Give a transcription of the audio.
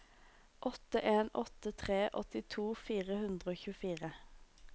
åtte en åtte tre åttito fire hundre og tjuefire